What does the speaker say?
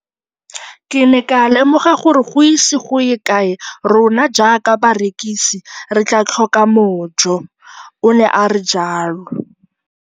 Ke ne ka lemoga gore go ise go ye kae rona jaaka barekise re tla tlhoka mojo, o ne a re jalo.